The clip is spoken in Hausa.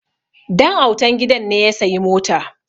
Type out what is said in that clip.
Dan'autan gidan ne ya sayi mota